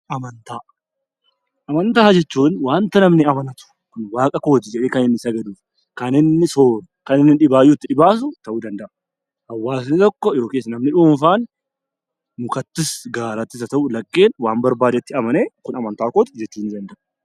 Amantaa Amantaa jechuun waanta namni amanatu, waaqa kooti jedhee sagadatu , kan inni sooru, kan inni dhibaatuu itti dhibaafatu ta'uu danda'a. Hawaasni tokko yookaan namni dhuunfaan mukattis haa ta'uu laggeen waan barbaadetti amanee Kun amantaa kooti jechuu ni danda'a.